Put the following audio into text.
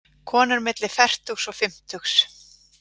Konur milli fertugs og fimmtugs.